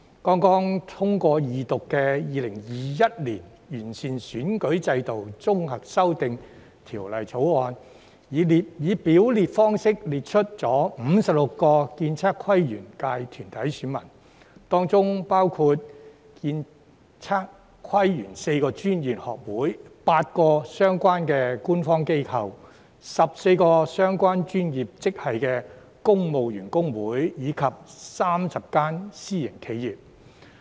剛通過二讀的《2021年完善選舉制度條例草案》，以表列方式列出56個建測規園界團體選民，當中包括建、測、規、園4個專業學會、8個相關官方機構、14個相關專業職系的公務員工會，以及30間私營企業。